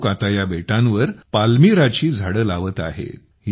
हे लोक आता या बेटांवर पाल्मिराची झाडे लावत आहेत